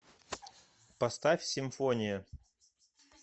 поставь симфония